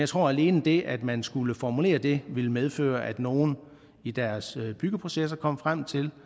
tror at alene det at man skal formulere det vil medføre at nogle i deres byggeprocesser kommer frem til